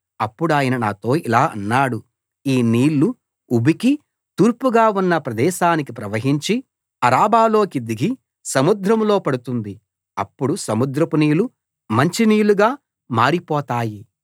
అప్పుడాయన నాతో ఇలా అన్నాడు ఈ నీళ్లు ఉబికి తూర్పుగా ఉన్న ప్రదేశానికి ప్రవహించి అరబాలోకి దిగి సముద్రంలో పడుతుంది అప్పుడు సముద్రపు నీళ్లు మంచినీళ్లుగా మారిపోతాయి